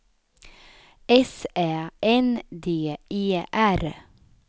S Ä N D E R